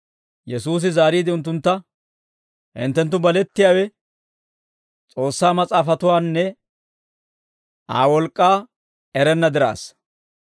Yesuusi zaariide unttuntta, «Hinttenttu balettiyaawe, S'oossaa Mas'aafatuwaanne Aa wolk'k'aa erenna diraassa!